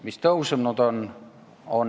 Mis on tõusnud?